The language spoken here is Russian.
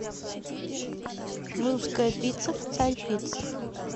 русская пицца в царь пицце